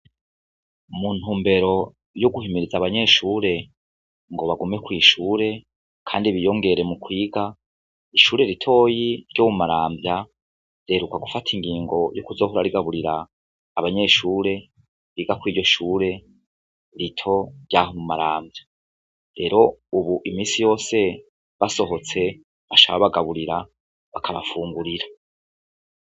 Muntumbero yo guhimiriza ababnyeshure ngo bagume kw'ishure, kandi biyongere mu kwiga, ishure ritoyi ryo mumaramvya riheruka gufata ingingo yo kuzohora rigaburira abanyeshure biga kuriryo shure rito ryaho mumaramvya, rero ubu imisi yose basohotse baca babagaburira bakabafungurira.